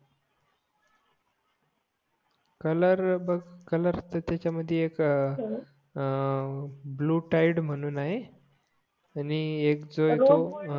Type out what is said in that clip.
colour बघ colour तरं त्याच्या मधी एक अं ब्लू टाइड म्हून आहे आणि एक जो